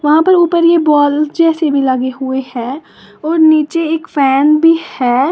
वहां पर ऊपर ये बॉल जैसे भी लगे हुए है और नीचे एक फैन भी है।